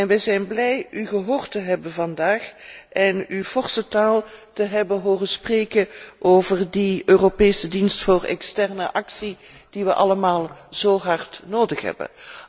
Wij zijn blij u gehoord te hebben vandaag en u forse taal te hebben horen spreken over de Europese Dienst voor extern optreden, die we allemaal zo hard nodig hebben.